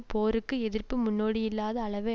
போருக்கு எதிர்ப்பு முன்னோடியில்லாத அளவை